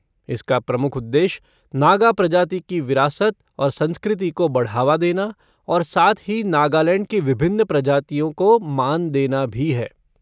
इसका प्रमुख उद्देश्य नागा प्रजाति की विरासत और संस्कृति को बढ़ावा देना और साथ ही नागालैंड की विभिन्न प्रजातिओं को मान देना भी है।